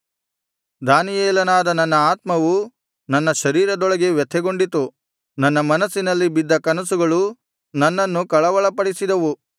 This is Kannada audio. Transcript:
ದಾನಿಯೇಲನಾದ ನನ್ನ ಆತ್ಮವು ನನ್ನ ಶರೀರದೊಳಗೆ ವ್ಯಥೆಗೊಂಡಿತು ನನ್ನ ಮನಸ್ಸಿನಲ್ಲಿ ಬಿದ್ದ ಕನಸುಗಳು ನನ್ನನ್ನು ಕಳವಳಪಡಿಸಿದವು